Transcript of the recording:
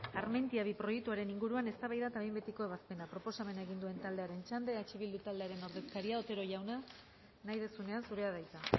armentiaminus bi proiektuaren inguruan eztabaida eta behin betiko ebazpena proposamena egin duen taldearen txanda eh bildu taldearen ordezkaria otero jauna nahi duzunean zurea da hitza